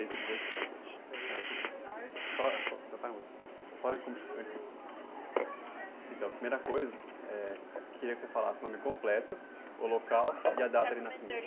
Cento e dezessete. Só, então está bom, só... Então, primeira coisa, eh, eu queria que você falasse o nome completo, o local e a data de nascimento.